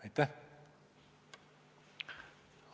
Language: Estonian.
Aitäh!